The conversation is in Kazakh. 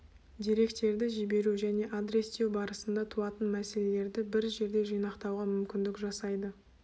деректерді жіберу және адрестеу барысында туатын мәселелерді бір жерде жинақтауға мүмкіндік жасайды